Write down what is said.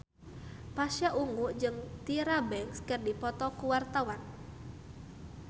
Pasha Ungu jeung Tyra Banks keur dipoto ku wartawan